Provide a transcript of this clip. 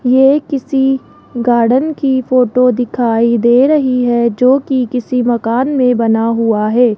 ये किसी गार्डन की फोटो दिखाई दे रही है जो कि किसी मकान में बना हुआ है।